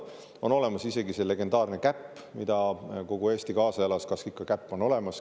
On olemas isegi see legendaarne käpp, millele kogu Eesti kaasa elas, et kas ikka käpp on olemas.